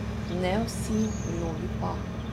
Ne vsi, mnogi pa.